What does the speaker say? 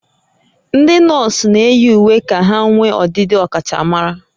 Ndị nọọsụ na-eyi uwe ka ha nwee ọdịdị ọkachamara